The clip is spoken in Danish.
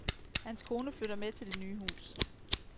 Hans kone flytter med til det nye hus.